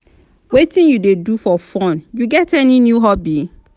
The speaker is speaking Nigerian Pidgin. wetin you dey do for fun you get any new hobby?